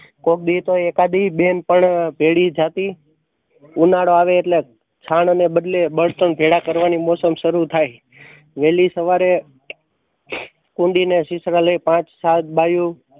કોકદી તો એકાદી બેન પણ ભેણી જતી. ઉનાળો આવે એટલે છાણ ને બદલે બળતણ ભેગા કરવા ની મોસમ શરૂ થાય. વહેલી સવારે ને પાંચ સાત બાયું